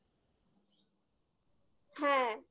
হ্যাঁ